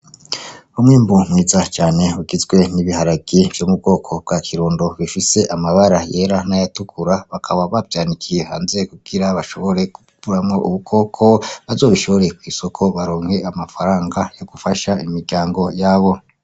Umurima mwiza cane ugizwe n'ibiharage vyo mu bwoko bwa kirundo bifise amabara yera n'ayatukura bakaba bavyanikiye hanze kugira bashobore gukuramwo udukoko bazobishore kw'isoko baronke amafaranga yo gufasha imiryango yabo.